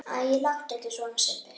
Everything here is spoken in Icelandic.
Æ, láttu ekki svona Sibbi